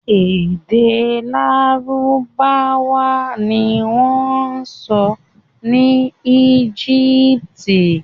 Èdè Lárúbáwá ni wọ́n ń sọ ní Egypt.